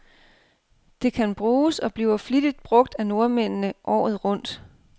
Det kan bruges, og bliver flittigt brug af nordmændene, året rundt.